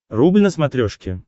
рубль на смотрешке